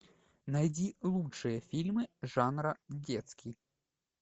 найди лучшие фильмы жанра детский